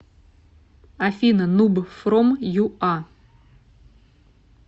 афина нуб фром ю а